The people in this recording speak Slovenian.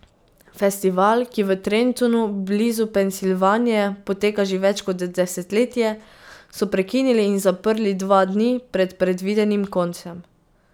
Festival, ki v Trentonu blizu Pensilvanije poteka že več kot desetletje so prekinili in zaprli dva dni pred predvidenim koncem.